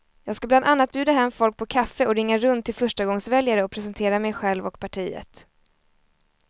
Jag ska bland annat bjuda hem folk på kaffe och ringa runt till förstagångsväljare och presentera mig själv och partiet.